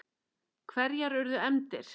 Hverjar urðu efndir?